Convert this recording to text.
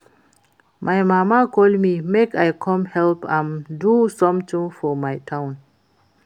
My mama call me make I come help am do something for my town